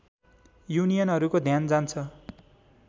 युनियनहरूको ध्यान जान्छ